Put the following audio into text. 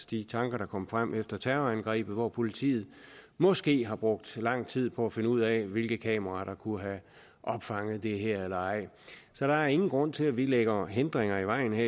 de tanker der kom frem efter terrorangrebet hvor politiet måske har brugt lang tid på at finde ud af hvilke kameraer der kunne have opfanget det her eller ej så der er ingen grund til at vi lægger hindringer i vejen